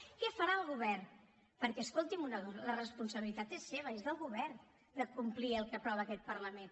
què farà el govern perquè escolti’m una cosa la responsabilitat és seva és del govern de complir el que aprova aquest parlament